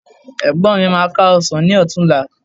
Ẹ̀gbọ́n mi máa ká ọsàn ní ọ̀tunla